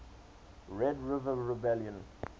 red river rebellion